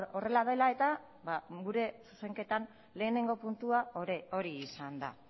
horrela dela eta gure zuzenketan lehenengo puntua hori izan da